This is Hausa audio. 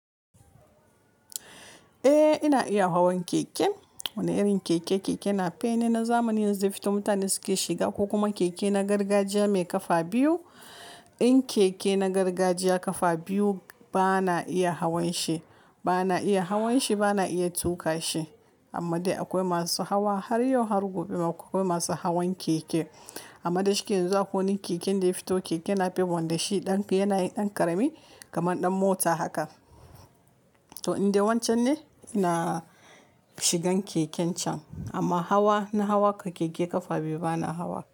Eh ina iya hawan keke. Wani irin keke? Keke napep na zamani yanzu da ya fito mutane suke shiga ko kuma keke na gargajiya mai kafa biyu. In keke na gargajiya kafa biyu bana iya hawan shi, bana iya hawan shi bana iya tuƙa shi. Amma dai akwai masu hawa har yau har gobe ma akwai masu hawan keke. Amma dashi ke yanzu akwai wani keken da ya fito keke napep wanda shi ɗan yana yin ɗan ƙarami kamar ɗan mota haka. To in dai wancan ne ina shigan keken can. Amma hawa na hawa keke kafa biyu bana hawa.